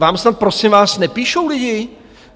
Vám snad, prosím vás, nepíšou lidi?